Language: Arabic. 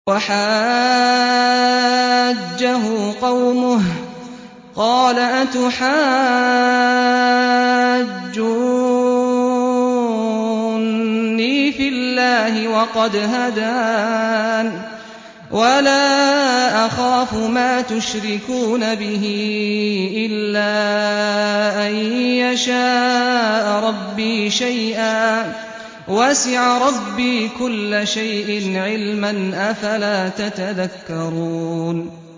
وَحَاجَّهُ قَوْمُهُ ۚ قَالَ أَتُحَاجُّونِّي فِي اللَّهِ وَقَدْ هَدَانِ ۚ وَلَا أَخَافُ مَا تُشْرِكُونَ بِهِ إِلَّا أَن يَشَاءَ رَبِّي شَيْئًا ۗ وَسِعَ رَبِّي كُلَّ شَيْءٍ عِلْمًا ۗ أَفَلَا تَتَذَكَّرُونَ